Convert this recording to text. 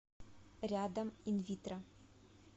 рядом инвитро